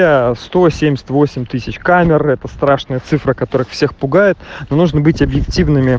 камеры это страшная цифра который всех пугает нужно быть объектив